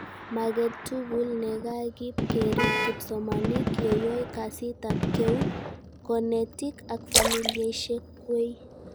Maget tugul nekakib kerib kipsomanink, yeyoe kasitab keut, konetik ak familiaishek kway